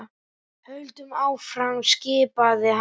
Höldum áfram skipaði hann.